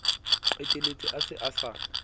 qetelletse a se a sa